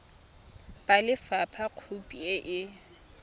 ba lefapha khopi e e